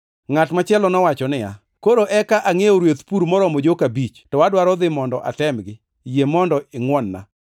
“Ngʼat machielo nowacho niya, ‘Koro eka angʼiewo rweth pur moromo jok abich, to adwaro dhi mondo atemgi, yie mondo ingʼwon-na.’